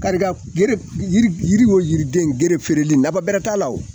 Kari ka f gere yiri yiri o yiriden gere feereli nafa bɛrɛ t'a la o.